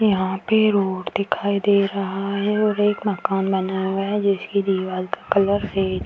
यहाँ पे रोड दिखाई दे रहा है और एक मकान बना हुआ है जिसकी दीवाल का कलर रेड --